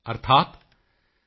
ਤਸਮਾਤ ਸ਼ੇਸ਼ਮ ਨਾ ਕਾਰਯੇਤ